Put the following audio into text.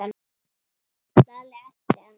Lalli elti hann.